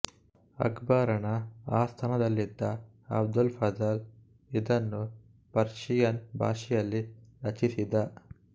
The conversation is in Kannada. ಅಕ್ಬರನ ಆಸ್ಥಾನದಲ್ಲಿದ್ದ ಅಬುಲ್ ಫಜ಼ಲ್ ಇದನ್ನು ಪರ್ಷಿಯನ್ ಭಾಷೆಯಲ್ಲಿ ರಚಿಸಿದ